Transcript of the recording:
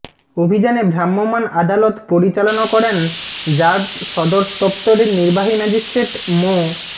অভিযানে ভ্রাম্যমাণ আদালত পরিচালনা করেন র্যাব সদর দফতরের নির্বাহী ম্যাজিস্ট্রেট মো